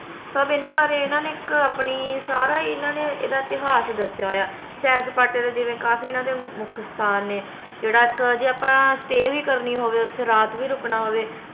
ਸਬ ਏਹਨਾ ਬਾਰੇ ਇਹਨਾਂ ਨੇ ਇਕ ਸਾਰਾ ਹੀ ਇਹਨਾਂ ਨੇ ਏਦਾਂ ਇਤਿਹਾਸ ਦਸਿਆ ਹੋਇਆ ਆ ਸੈਰ ਸਪਾਟੇ ਦਾ ਜਿਵੇਂ ਕਾਫੀ ਇਹਨਾਂ ਦੇ ਮੁਖ ਸਥਾਨ ਨੇ ਜੇਹੜਾ ਇਕ ਜੇ ਆਪਾ stay ਵੀ ਕਰਨੀ ਹੋਵੇ ਓਥੇ ਰਾਤ ਵੀ ਰੁਕਣਾ ਹੋਵੇ